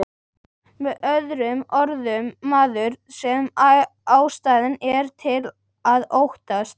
Með öðrum orðum, maður sem ástæða er til að óttast.